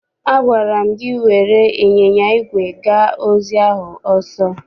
Agwara m gị were ịnyịnya igwe gaa ozi ahụ ọsọ!